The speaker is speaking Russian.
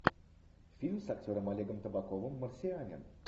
фильм с актером олегом табаковым марсианин